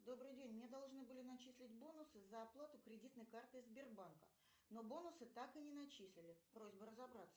добрый день мне должны были начислить бонусы за оплату кредитной картой сбербанка но бонусы так и не начислили просьба разобраться